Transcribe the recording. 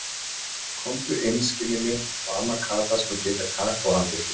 Komdu inn skinnið mitt og amma Kata skal hita kakó handa ykkur.